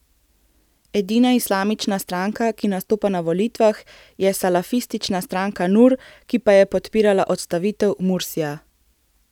Edina islamistična stranka, ki nastopa na volitvah, je salafistična stranka Nur, ki pa je podpirala odstavitev Mursija.